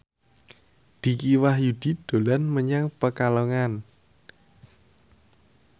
Dicky Wahyudi dolan menyang Pekalongan